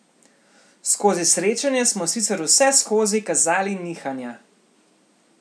Skozi srečanje smo sicer vseskozi kazali nihanja.